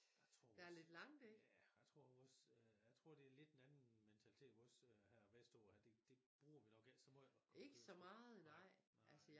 Jeg tror også ja jeg tror også jeg tror det lidt en anden mentalitet her vestover det bruger vi nok ikke så meget